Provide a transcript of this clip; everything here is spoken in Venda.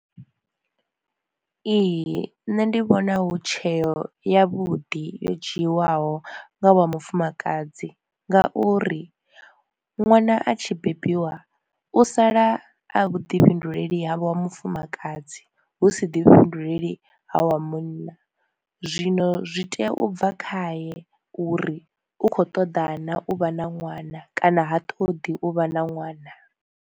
Ee nṋe ndi vhona hu tsheo ya vhuḓi yo dzhiwaho nga wa mufumakadzi, nga uri ṅwana a tshi bebiwa u sala a vhuḓi fhinduleli havha wa mufumakadzi husi ḓi fhinduleli ha wa munna, zwino zwi tea u bva khaye uri u kho ṱoḓa na u vha na ṅwana kana ha ṱoḓi u vha na ṅwana.